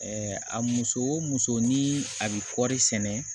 a muso o muso ni a bɛ kɔri sɛnɛ